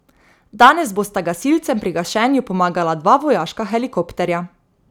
Danes bosta gasilcem pri gašenju pomagala dva vojaška helikopterja.